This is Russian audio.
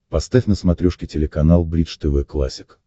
поставь на смотрешке телеканал бридж тв классик